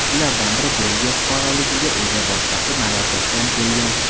Ulardan biri Belgiya fuqaroligiga ega, boshqasi Marokashdan kelgan.